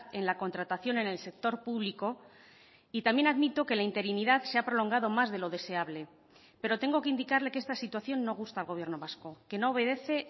en la contratación en el sector público y también admito que la interinidad se ha prolongado más de lo deseable pero tengo que indicarle que esta situación no gusta al gobierno vasco que no obedece